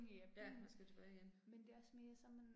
Ja, man skal tilbage igen